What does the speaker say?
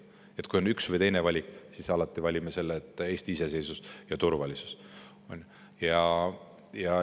Nii et kui on üks või teine valik, siis alati valime Eesti iseseisvuse ja turvalisuse.